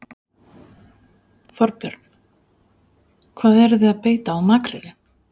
Þorbjörn: Hvað eruð þið að beita á makrílinn?